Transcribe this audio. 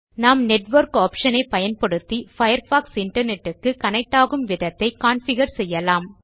நாம் network option ஐ பயன்படுத்தி பயர்ஃபாக்ஸ் இன்டர்நெட் க்கு கனெக்ட் ஆகும் விதத்தை கான்ஃபிகர் செய்யலாம்